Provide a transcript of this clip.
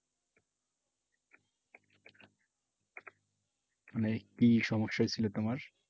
মানে কি সমস্যা হইছিলো তোমার?